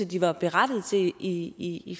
de var berettigede til i i